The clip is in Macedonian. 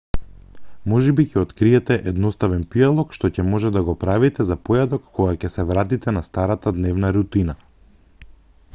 можеби ќе откриете едноставен пијалок што ќе можете да го правите за појадок кога ќе се вратите на старата дневна рутина